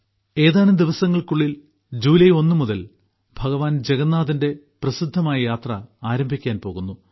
ഏതാനും ദിവസങ്ങൾക്കുള്ളിൽ ജൂലൈ ഒന്നു മുതൽ ഭഗവാൻ ജഗന്നാഥന്റെ പ്രസിദ്ധമായ യാത്ര ആരംഭിക്കാൻ പോകുന്നു